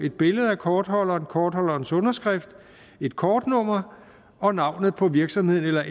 et billede af kortholderen kortholderens underskrift et kortnummer og navnet på virksomheden eller